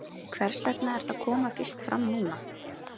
Hvers vegna er þetta að koma fyrst fram núna?